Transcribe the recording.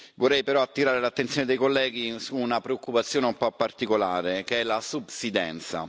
Vorrei però attirare l'attenzione dei colleghi su una preoccupazione un po' particolare, che è la subsidenza.